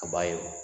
A b'a ye o